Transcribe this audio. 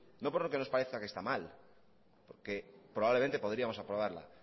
no porque nos parezca que está mal porque probablemente podríamos aprobarla